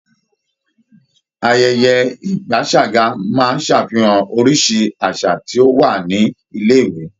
Ayẹyẹ ìgbaṣàga máa ń ṣàfihan oríṣi àṣà tí ó wà ní ilé-ìwé.